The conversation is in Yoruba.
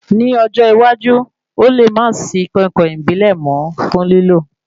Ní ọjọ́ iwájú, Ó le má sì í koinkoin ìbílẹ̀ mọ fún lílò